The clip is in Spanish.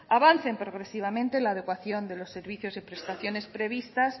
avancen progresivamente en la adecuación de los servicios y prestaciones previstas